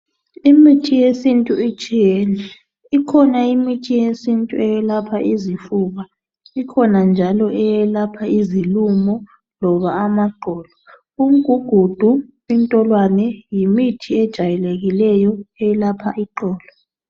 Imithi yesintu itshiyene. Ikhona eyelapha isifuba, isilumo kumbe iqolo. Umgugudu ngumuthi ojayelekileyo owelapha iqolo.